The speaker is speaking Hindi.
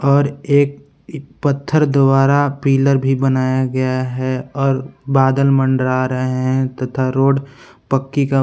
और एक पत्थर द्वारा पिलर भी बनाया गया है और बादल मंडरा रहे हैं तथा रोड पक्की का--